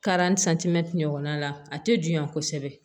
ɲɔgɔnna a tɛ juguya kosɛbɛ